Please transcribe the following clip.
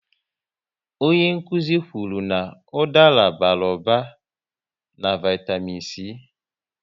Onye nkụzi kwụrụ n'udara bara ụba na vaitamịn c